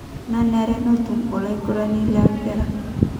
Nanare netum olaigurani lempira.